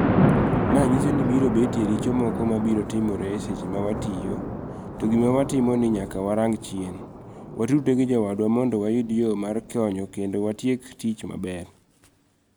Mae nyiso ni biro betie richo moko mabiro timore eseche mawatiyo to gima watimo ni nyaka warang chien ,watudre gijowadwa mondo wayud yoo mar konyo kendo watiek tich maber.